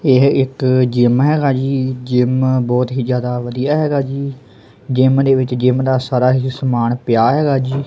ਏਹ ਇੱਕ ਜਿੱਮ ਹੈਗਾ ਜੀ ਜਿੱਮ ਬੋਹੁਤ ਹੀ ਜਿਆਦਾ ਵਧੀਆ ਹੈਗਾ ਜੀ ਜਿੱਮ ਦੇ ਵਿੱਚ ਜਿੱਮ ਦਾ ਸਾਰਾ ਹੀ ਸਮਾਨ ਪਿਆ ਹੈਗਾ ਜੀ।